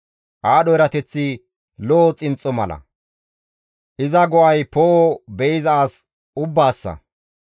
Aadho erateththi lo7o xinxxo mala; iza go7ay poo7o be7iza as ubbaassa.